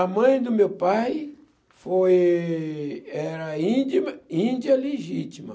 A mãe do meu pai foi... era índia índia legítima.